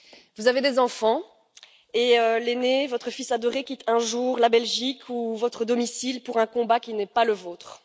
Vous avez des enfants et l'aîné, votre fils adoré, quitte un jour la Belgique ou votre domicile pour un combat qui n'est pas le vôtre.